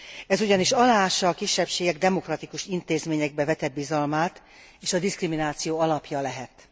Ez ugyanis aláássa a kisebbségek demokratikus intézményekbe vetett bizalmát és a diszkrimináció alapja lehet.